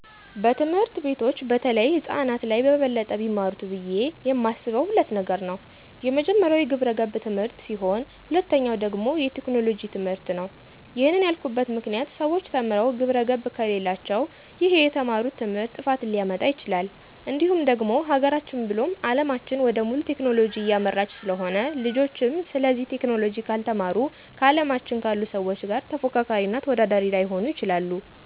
በትምህርት ቤቶች በተለይ ህፃናት ላይ በበለጠ ቢማሩት ብዬ የማስበው ሁለት ነገር ነው፤ የመጀመሪያው የግብረገብ ትምህርት ሲሆን ሁለተኛው ደግሞ የቴክኖሎጂ ትምህርትነው። ይህንን ያልኩበት ምክንያት ሰዎች ተምረው ግብረገብ ከሌላቸው ይህ የተማሩት ትምህርት ጥፋትን ሊያመጣ ይችላል፤ እንዲሁም ደግሞ ሀገራችን ብሎም አለማችን ወደ ሙሉ ቴክኖሎጂ እያመራች ስለሆነ ልጆችም ስለዚህ ቴክኖሎጂ ካልተማሩ ከአለማችን ካሉ ሰዎች ጋር ተፎካካሪ እና ተወዳዳሪ ላይሆኑ ይችላሉ።